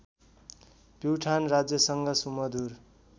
प्युठान राज्यसँग सुमधुर